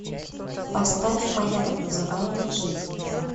поставь моя так называемая жизнь